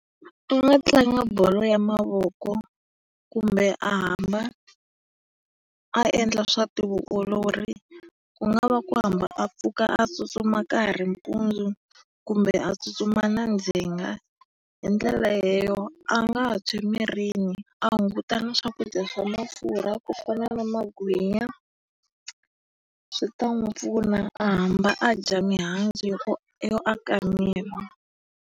A nga tlanga bolo ya mavoko kumbe a hamba a endla swa ti vuolori. Ku nga va ku hamba a pfuka a tsutsuma ka ha ri mpundzu kumbe a tsutsuma na ndzhenga. Hi ndlela leyo a nga tshwa emirini, a hunguta na swakudya swa mafurha ku fana na magwinya. Swi ta n'wi pfuna a hamba a dya mihandzu yo aka miri.